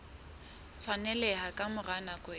tshwaneleha ka mora nako e